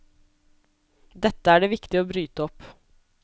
Dette er det viktig å bryte opp.